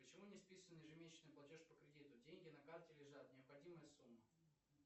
почему не списан ежемесячный платеж по кредиту деньги на карте лежат необходимая сумма